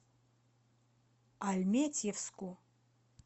альметьевску